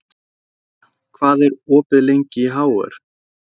Yrja, hvað er opið lengi í HR?